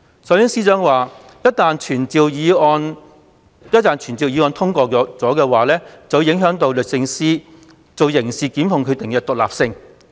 首先，司長說傳召議案一旦獲得通過，便會影響律政司作刑事檢控決定的獨立性。